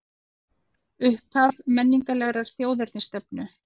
Upphaf menningarlegrar þjóðernisstefnu